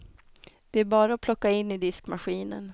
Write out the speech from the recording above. Det är bara att plocka in i diskmaskinen.